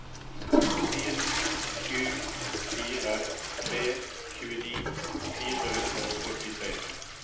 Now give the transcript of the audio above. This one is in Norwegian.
en sju fire tre tjueni fire hundre og åttitre